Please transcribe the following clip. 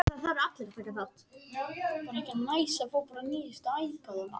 Gera ekki ráð fyrir skuldunum